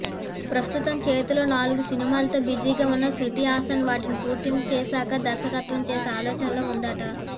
ప్రస్తుతం చేతిలో నాలుగు సినిమాలతో బిజీగా ఉన్న శృతి హాసన్ వాటిని పూర్తి చేశాక దర్శకత్వం చేసే ఆలోచనలో ఉందట